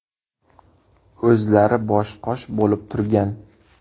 O‘zlari bosh-qosh bo‘lib turgan.